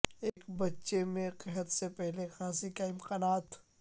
ایک بچے میں قحط سے پہلے کھانسی کا امکانات